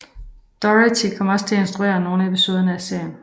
Doherty kom også til at instruere nogle episoder af serien